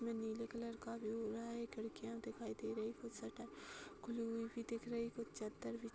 में नीले कलर का व्यू हो रहा है। ये खिड़कियां दिखाई दे रही। कुछ शटर खुली हुई भी दिख रही। कुछ चद्दर भी --